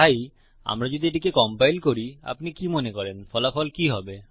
তাই আমরা যদি এটিকে কম্পাইল করি আপনি কি মনে করেন ফলাফল কি হবে